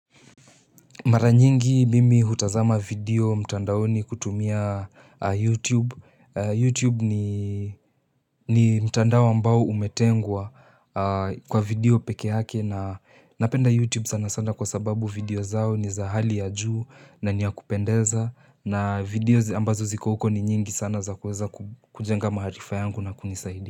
Mara nyingi mimi hutazama video mtandaoni kutumia YouTube. YouTube ni mtandao ambao umetengwa kwa video peke yake na napenda YouTube sana sana kwa sababu video zao ni za hali ya juu na niya kupendeza. Na video ambazo ziko huko ni nyingi sana za kuweza kujenga maharifa yangu na kunisaidia.